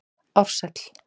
Ársæll